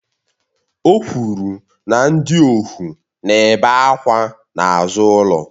O kwuru na ndị ohu na-ebe àkwà n'azụ ụlọ